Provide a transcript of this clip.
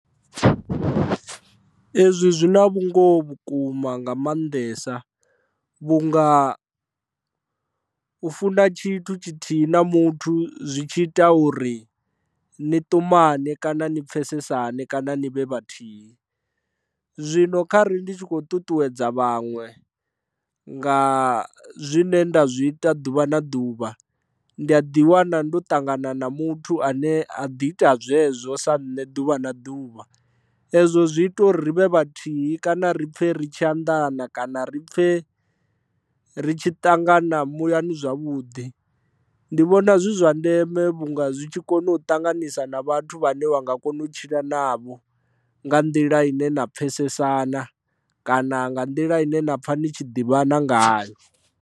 Ezwi zwi na vhungoho vhukuma nga maanḓesa vhunga u funa tshithu tshithihi na muthu zwi tshi ita uri ni ṱumane kana ni pfhesesane kana ni vhe vhathihi zwino kha ri ndi tshi kho ṱuṱuwedza vhaṅwe nga zwine nda zwi ita ḓuvha na ḓuvha ndi a ḓi wana ndo ṱangana na muthu ane a ḓi ita zwezwo sa nṋe ḓuvha na ḓuvha, ezwo zwi ita uri ri vhe vhathihi kana ri pfhe ri tshi anḓana kana ri pfhe ri tshi ṱangana muyani zwavhuḓi ndi vhona zwi zwa ndeme vhunga zwi tshi kona u ṱanganisa na vhathu vhane vha nga kona u tshila navho nga nḓila ine na pfhesesana kana nga nḓila ine na pfha ni tshi ḓivhana ngayo.